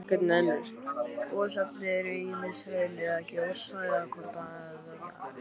Gosefni eru ýmist hraun eða gjóska eða hvort tveggja.